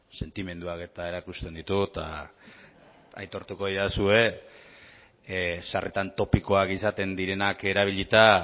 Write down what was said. sentimendua bertara erakusten ditu eta aitortuko didazue sarritan topikoak izaten direnak erabilita